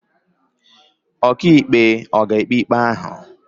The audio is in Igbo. Ọkàikpe ọ̀ ga-ekpe ikpe ahụ?